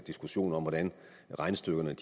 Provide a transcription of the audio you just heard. diskussion om hvordan regnestykkerne er